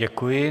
Děkuji.